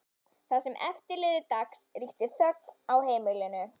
Það sem eftir lifði dags ríkti þögn á heimilinu.